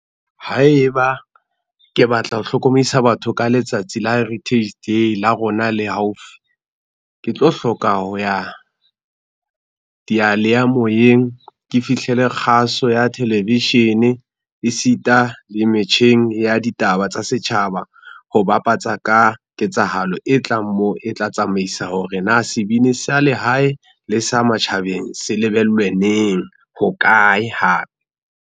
Haeba, ke batla ho hlokomedisa batho ka letsatsi la Heritage Day la rona le haufi, ke tlo hloka ho ya, diyaleyamoyeng ke fihlele kgaso ya television, esita le metjheng ya ditaba tsa setjhaba ho bapatsa ka ketsahalo e tlang moo e tla tsamaisa hore na sebini sa lehae le sa matjhabeng se lebellwe neng, hokae hape.